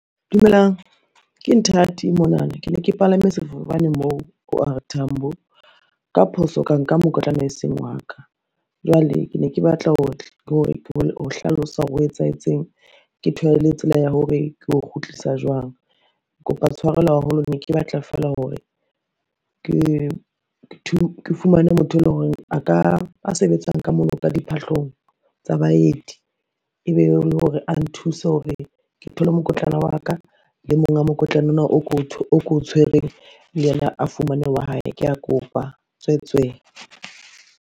Dumelang ke Nthati monana ke ne ke palame sefofane moo O_R Tambo, ka phoso ka nka mokotlana e seng wa ka. Jwale ke ne ke batla ho hlalosa hore ho etsahetseng, ke thole le tsela ya hore ke o kgutlisa jwang. Kopa tshwarelo haholo ne ke batla fela hore ke fumane motho eleng horeng a sebetsang ka mono ka diphahlong tsa baeti, ebe e le hore a nthuse hore ke thole mokotlana wa ka. Le monga mokotla ona o ko o tshwereng le yena, a fumane wa hae. Kea kopa tswetswe.